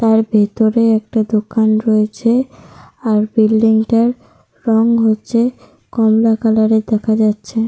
তার ভিতরে একটা দোকান রয়েছে। আর বিল্ডিং টার রং হচ্ছে কমলা কালার -এর দেখা যাচ্ছে।